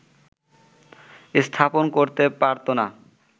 স্থাপন করতে পারত না